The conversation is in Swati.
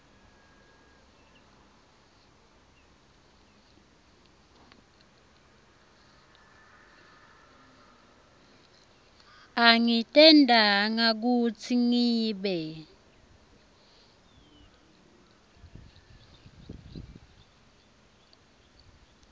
angitentanga kutsi ngibe